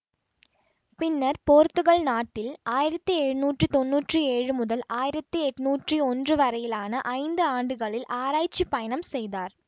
பின்னர் போர்த்துகல் நாட்டில் ஆயிரத்தி எழுநூற்றி தொன்னூற்றி ஏழு முதல் ஆயிரத்தி எண்ணூற்றி ஒன்று வரையிலான ஐந்து ஆண்டுகளில் ஆராய்ச்சி பயணம் செய்தார்